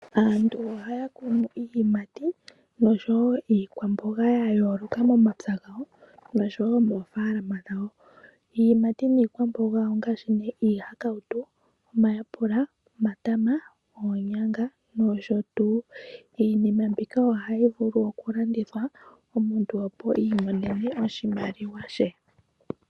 Aantu ohaya kunu iiyimati noshowo iikwamboga ya yooloka momapya gawo noshowo moofalama dhawo. Iiyimati niikwamboga ongaashi nee iihakautu, omayapula, omatama, oonyanga nosho tuu. Iinima mbika ohayi vulu okulandithwa omuntu opo a imonene oshimaliwa she.